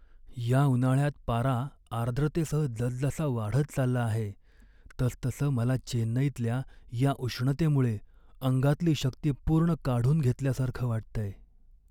या उन्हाळ्यात पारा आर्द्रतेसह जसजसा वाढत चालला आहे तसतसं मला चेन्नईतल्या या उष्णतेमुळे अंगातली शक्ती पूर्ण काढून घेतल्यासारखं वाटतंय.